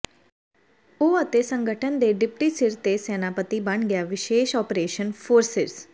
ਉਹ ਅਤੇ ਸੰਗਠਨ ਦੇ ਡਿਪਟੀ ਸਿਰ ਦੇ ਸੈਨਾਪਤੀ ਬਣ ਗਿਆ ਵਿਸ਼ੇਸ਼ ਓਪਰੇਸ਼ਨ ਫੋਰਸਿਜ਼